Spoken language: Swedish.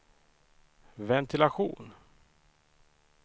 ventilation